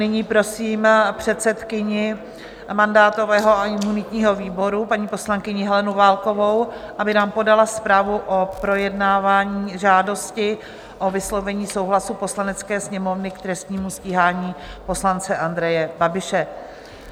Nyní prosím předsedkyni mandátového a imunitního výboru, paní poslankyni Helenu Válkovou, aby nám podala zprávu o projednávání žádosti o vyslovení souhlasu Poslanecké sněmovny k trestnímu stíhání poslance Andreje Babiše.